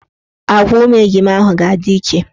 Agwa ụmụ ejima ahụ ga-adị iche.